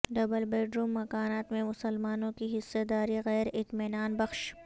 double bedroom مکانات میں مسلمانوں کی حصہ داری غیر اطمینان بخش